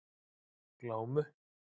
Glámu